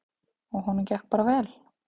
Og honum gekk bara vel.